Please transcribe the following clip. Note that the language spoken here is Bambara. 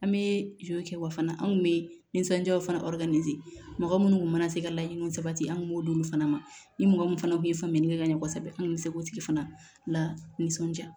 An bɛ kɛ wa fana anw kun bɛ nisɔndiya o fana mɔgɔ minnu kun mana se ka laɲiniw sabati an kun b'o d'olu fana ma ni mɔgɔ minnu fana bɛ faamuyali kɛ ka ɲɛ kosɛbɛ an kun bɛ se k'o tigi fana la nisɔndiya